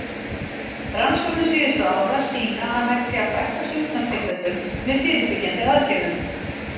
Rannsóknir síðustu ára sýna að hægt sé að fækka sjúkdómstilfellum með fyrirbyggjandi aðgerðum.